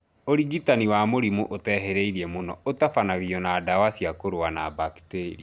ũrigitani wa mũrimũ ũtehĩrĩirie mũno ũtabanagio na ndawa cia kũrũa na baketria